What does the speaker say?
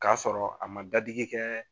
K'a sɔrɔ a ma dadigi kɛɛ